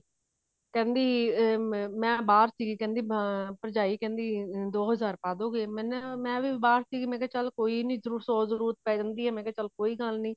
ਕਹਿੰਦੀ ਮੈਂ ਅਮ ਬਾਹਰ ਸੀ ਅਮ ਭਰਜਾਈ ਕਹਿੰਦੀ ਦੋ ਹਜ਼ਾਰ ਪਾ ਦੋਗੇ ਮੈਂ ਵੀ ਬਾਹਰ ਸੀਗੀ ਮੈਂ ਕਿਹਾ ਚਲ ਕੋਈ ਨੀ ਸੋ ਜਰੂਰਤ ਪੈ ਜਾਂਦੀ ਮੈਂ ਕਿਹਾ ਚਲ ਕੋਈ ਗੱਲ ਨੀ